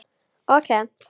Og kennt.